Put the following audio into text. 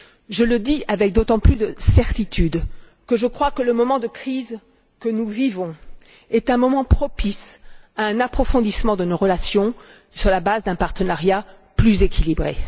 Je le dis avec d'autant plus de certitude que je crois que le moment de crise que nous vivons est un moment propice à un approfondissement de nos relations sur la base d'un partenariat plus équilibré.